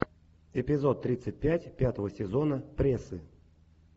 эпизод тридцать пять пятого сезона прессы